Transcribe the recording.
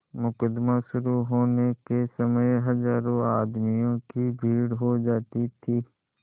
मुकदमा शुरु होने के समय हजारों आदमियों की भीड़ हो जाती थी